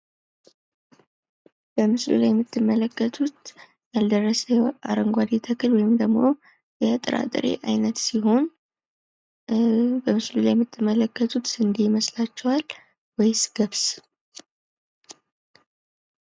በምስሉ ላይ የምትመለከቱት ያልደረሰ አረንጓዴ ተክል ወይም ደግሞ የጥራጥሬ አይነት ሲሆን በምስሉ ላይ የምትመለከቱት ስንዴ ይመስላችኋል ወይስ ገብስ ?